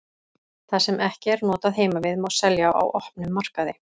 Það sem ekki er notað heima við má selja á opnum markaði.